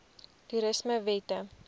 toerismewette